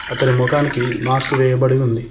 అతని ముఖానికి మాస్క్ వేయబడి ఉంది.